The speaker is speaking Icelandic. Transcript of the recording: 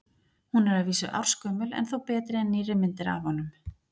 Hún er að vísu ársgömul en þó betri en nýrri myndir af honum.